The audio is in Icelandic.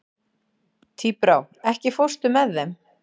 Tíbrá, ekki fórstu með þeim?